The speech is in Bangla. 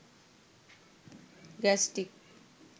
গ্যাস্টিক